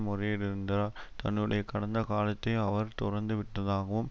முறையிடுந்தா தன்னுடைய கடந்த காலத்தை அவர் துறந்துவிட்டதாகவும்